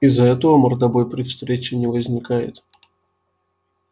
из-за этого мордобой при встрече не возникает